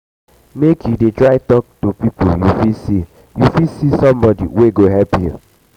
make you dey try tok to people you fit see somebodi wey go help you.